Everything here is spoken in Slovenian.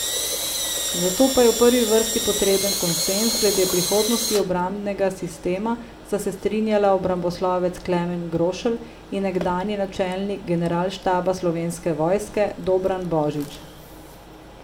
Za to pa je v prvi vrsti potreben konsenz glede prihodnosti obrambnega sistema, sta se strinjala obramboslovec Klemen Grošelj in nekdanji načelnik Generalštaba Slovenske vojske Dobran Božič.